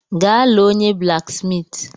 Gaa lee onye blaksmiiti.